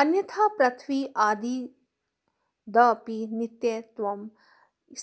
अन्यथा पृथिव्यादिवदपि नित्यत्वं